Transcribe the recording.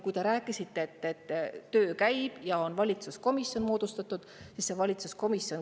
Te rääkisite, et töö käib ja on moodustatud valitsuskomisjon.